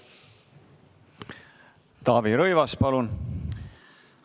Taavi Rõivas, palun!